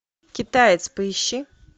китаец поищи